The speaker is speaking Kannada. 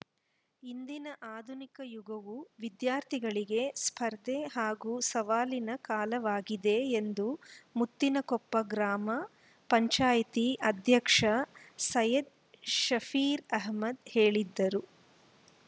ಇಂದಿನ ಆಧುನಿಕ ಯುಗವು ವಿದ್ಯಾರ್ಥಿಗಳಿಗೆ ಸ್ಪರ್ಧೆ ಹಾಗೂ ಸವಾಲಿನ ಕಾಲವಾಗಿದೆ ಎಂದು ಮುತ್ತಿನಕೊಪ್ಪ ಗ್ರಾಮ ಪಂಚಾಯಿತಿ ಅಧ್ಯಕ್ಷ ಸೈಯ್ಯದ್‌ ಶಫೀರ್‌ ಅಹಮ್ಮದ್‌ ಹೇಳಿದರು